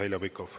Heljo Pikhof.